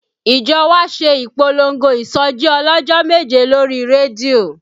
Ìjọ wa ṣe ìpolongo ìsọjí ọlọ́jọ́ méje lórí rédíò